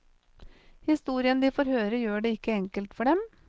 Historien de får høre gjør det ikke enkelt for dem.